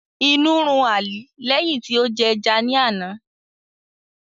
Inu run Ali lẹhin ti o jẹ ẹja ni ana.